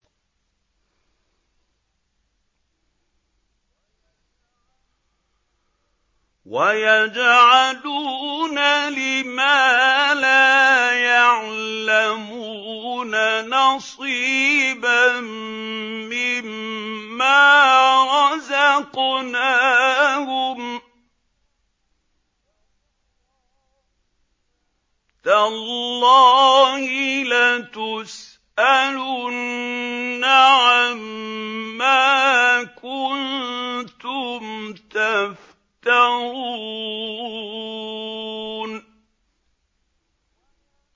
وَيَجْعَلُونَ لِمَا لَا يَعْلَمُونَ نَصِيبًا مِّمَّا رَزَقْنَاهُمْ ۗ تَاللَّهِ لَتُسْأَلُنَّ عَمَّا كُنتُمْ تَفْتَرُونَ